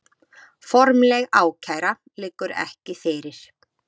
Formleg ákæra liggur ekki fyrir